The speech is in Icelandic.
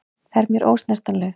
Er mér ósnertanleg.